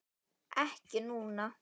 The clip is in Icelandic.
Ekki núna.